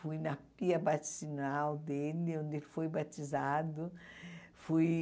Fui na pia batizinal dele, onde ele foi batizado. Fui